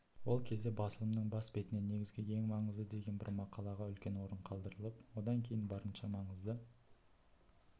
ол кезде басылымының бас бетінде негізгі ең маңызды деген бір мақалаға үлкен орын қалдырылып одан кейін барынша маңызды